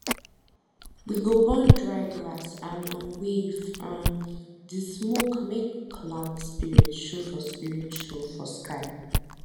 we go burn dry grass and um wave um di smoke make cloud spirit show for spirit show for sky